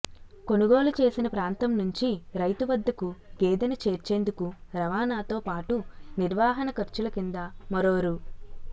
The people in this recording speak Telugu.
కొనుగోలు చేసిన ప్రాంతం నుంచి రైతు వద్దకు గేదెను చేర్చేందుకు రవాణాతో పాటు నిర్వహణ ఖర్చుల కింద మరో రూ